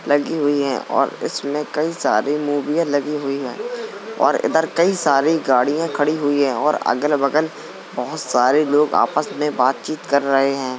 लगी हुई है और इसमें कई सारे मुविया लगी हुई है और इधर कई सारी गाड़ियाँ लगी हुई है और अगल बगल बहुत सारे लोग आपस आपस में बात कर रहे हैं।